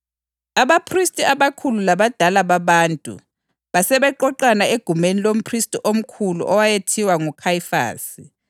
Abaphristi abakhulu labadala babantu basebeqoqana egumeni lomphristi omkhulu owayethiwa nguKhayifasi,